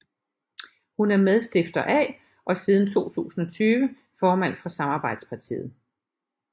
Hun er medstifter af og siden 2020 formand for Samarbejdspartiet